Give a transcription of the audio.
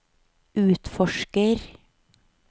utforsker